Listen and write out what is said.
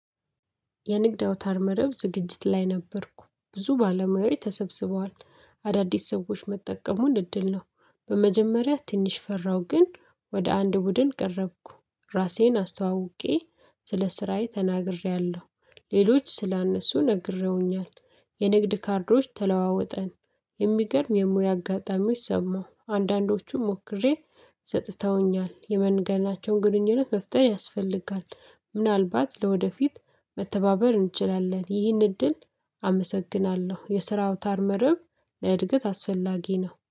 የንግድ አውታር መረብ ዝግጅት ላይ ነበርኩ ብዙ ባለሙያዎች ተሰብስበዋል አዳዲስ ሰዎች መጠቀሙን እድል ነው። በመጀመሪያ ትንሽ ፈራሁ ግን ወደ አንድ ቡድን ቀረብኩ ራሴን አስተዋውቄ ስለ ስራዬ ተናግሬ ሌሎች ስለነሱ ነግሬውኛል። የንግድ ካርዶች ተለዋውጠን የሚገርም የሙያ አጋጣሚዎች ሰማሁ አንዳንዶቹም ሞክሬ ሰጥተውኛል የመንገዳቸውን ግንኙነት መፍጠር ያስፈልጋል። ምናልባት ለወደፊት መተባበር እንችላለን ይህን እድል አመሰግናለሁ። የስራው ታርመርብ ለእድገት አስፈላጊ ነው